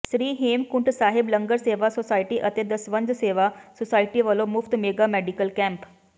ਸ੍ਰੀ Hemkunt Sahib Langar Seva society ਅਤੇ Dasvandh Seva society ਵੱਲੋਂ ਮੁਫਤ ਮੈਗਾ ਮੈਡੀਕਲ ਕੈਂਪ